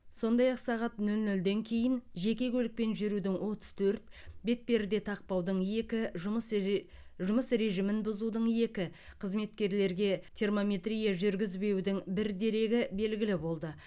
сондай ақ сағат нөл нөлден кейін жеке көлікпен жүрудің отыз төрт бетперде тақпаудың екі жұмыс ре жұмыс режимін бұзудың екі қызметкерлерге термометрия жүргізбеудің бір дерегі белгілі болды